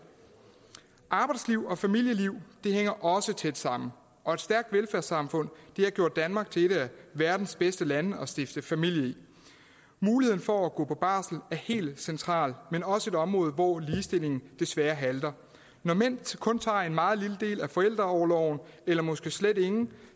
arbejdsliv og familieliv hænger også tæt sammen og et stærkt velfærdssamfund har gjort danmark til et af verdens bedste lande at stifte familie i muligheden for at gå på barsel er helt central men også et område hvor ligestillingen desværre halter når mænd kun tager en meget lille del af forældreorloven eller måske slet ingen